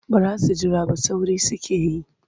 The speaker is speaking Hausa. Ba za su jira ba sauri suke yi.